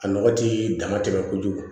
A nɔgɔ ti dama tɛmɛ kojugu